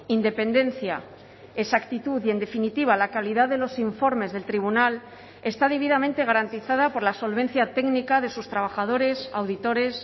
independencia esa actitud y en definitiva la calidad de los informes del tribunal está debidamente garantizada por la solvencia técnica de sus trabajadores auditores